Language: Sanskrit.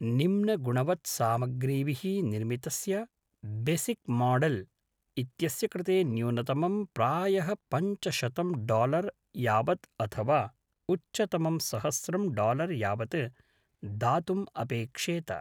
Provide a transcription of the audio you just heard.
निम्नगुणवत्सामग्रीभिः निर्मितस्य बॆसिक् माडेल् इत्यस्य कृते न्यूनतमं प्रायः पञ्चशतं डालर् यावत् अथवा उच्चतमं सहस्रं डालर् यावत् दातुम् अपेक्षेत।